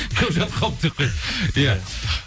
көп жатып қалды деп қой иә